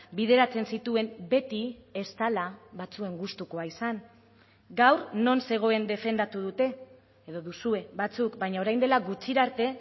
bideratzen zituen beti ez dela batzuen gustukoa izan gaur non zegoen defendatu dute edo duzue batzuk baina orain dela gutxira arte